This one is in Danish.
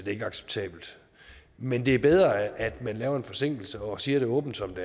ikke acceptabelt men det er bedre at man laver en forsinkelse og siger det åbent som